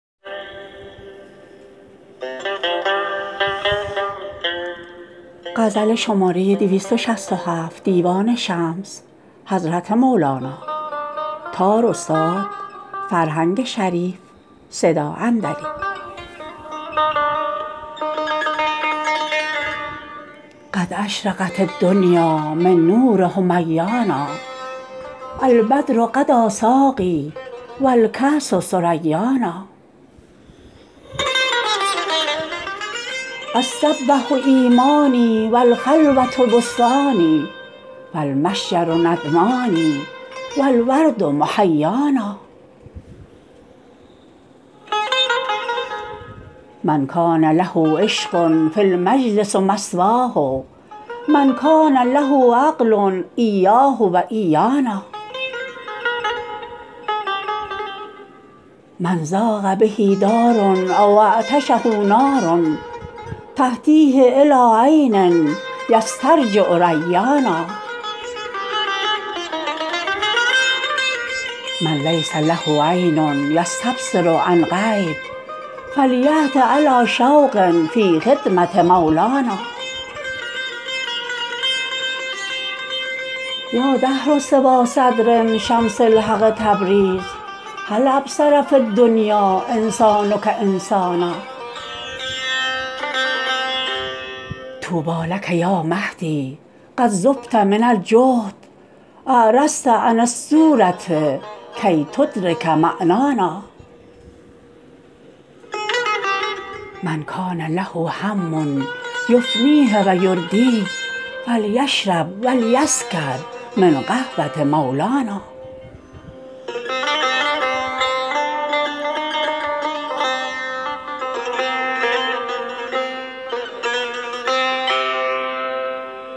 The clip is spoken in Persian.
قد اشرقت الدنیا من نور حمیانا البدر غدا ساقی و الکأس ثریانا الصبوه ایمانی و الخلوه بستانی و المشجر ندمانی و الورد محیانا من کان له عشق فالمجلس مثواه من کان له عقل ایاه و ایانا من ضاق به دار او اعطشه نار تهدیه الی عین یسترجع ریانا من لیس له عین یستبصر عن غیب فلیأت علی شوق فی خدمه مولانا یا دهر سوی صدر شمس الحق تبریز هل ابصر فی الدنیا انسانک انسانا طوبی لک یا مهدی قد ذبت من الجهد اعرضت عن الصوره کی تدرک معنانا من کان له هم یفنیه و یردیه فلیشرب و لیسکر من قهوه مولانا